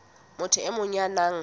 motho e mong ya nang